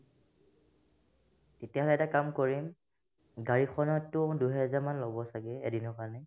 তেতিয়াহ'লে এটা কাম কৰিম গাড়ীখনতো দুইহাজাৰ মান ল'ব ছাগে এদিনৰ কাৰণে